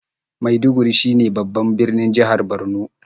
Maiduguri shine babban birnin jihar Borno.